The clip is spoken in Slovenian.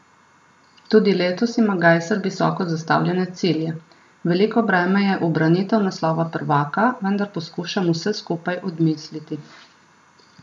Tudi letos ima Gajser visoko zastavljene cilje: "Veliko breme je ubranitev naslova prvaka, vendar poskušam vse skupaj odmisliti.